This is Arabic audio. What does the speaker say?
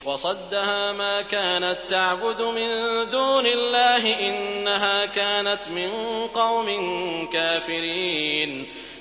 وَصَدَّهَا مَا كَانَت تَّعْبُدُ مِن دُونِ اللَّهِ ۖ إِنَّهَا كَانَتْ مِن قَوْمٍ كَافِرِينَ